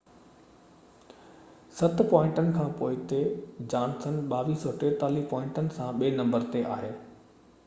ست پوائنٽن کان پوئتي جانسن 2243 پوائنٽن سان ٻي نمبر تي آهي